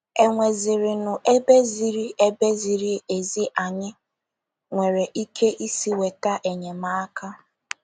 È nwezirinụ ebe ziri ebe ziri ezi anyị nwere ike isi nweta enyemaka?